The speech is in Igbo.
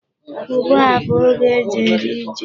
Ugbu a bụ oge e ji eri ji.